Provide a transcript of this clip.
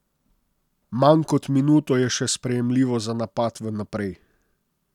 Manj kot minuto je še sprejemljivo za napad v naprej.